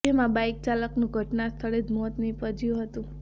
જેમાં બાઈક ચાલકનું ઘટના સ્થળે જ મોત નીપજ્યું હતું